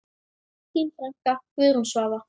Þín frænka, Guðrún Svava.